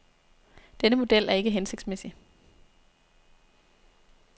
Denne model er ikke hensigtsmæssig.